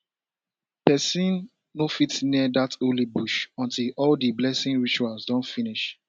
person no fit near dat holy bush until all di blessing rituals don finish